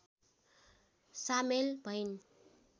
सामेल भइन्